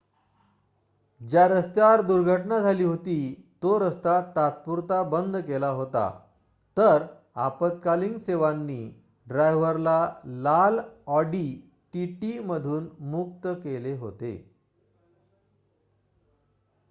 ज्या रस्त्यावर दुर्घटना झाली होती तो रस्ता तात्पुरता बंद केला होता तर आपत्कालीन सेवांनी ड्रायव्हरला लाल ऑडी टीटी मधून मुक्त केले होते